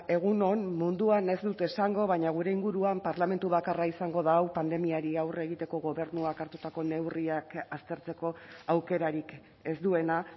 egun on munduan ez dut esango baina gure inguruan parlamentu bakarra izango da hau pandemiari aurre egiteko gobernuak hartutako neurriak aztertzeko aukerarik ez duena